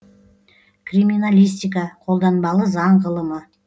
криминалистика қолданбалы заң ғылымы